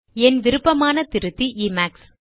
என் விருப்பமான திருத்தி இமேக்ஸ்